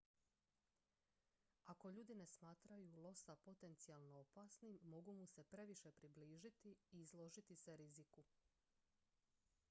ako ljudi ne smatraju losa potencijalno opasnim mogu mu se previše približiti i izložiti se riziku